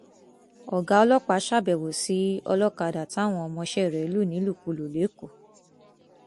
ọgá ọlọpàá ṣàbẹwò sí ọlọkadà táwọn ọmọọṣẹ rẹ lù nílùkulù lẹkọọ